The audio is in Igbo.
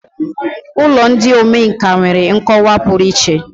Ụlọ ndị omenkà nwere nkọwa pụrụ iche.